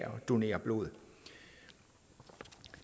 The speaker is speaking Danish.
donere blod